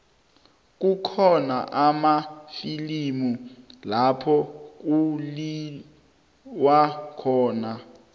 kukhona amafilimu lapho kuliwa khona